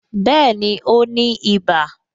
Bẹẹni, ó ní iba